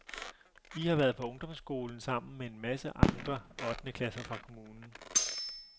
I har været på ungdomsskolen sammen med en masse andre ottende klasser fra kommunen.